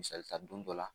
Misali ta don dɔ la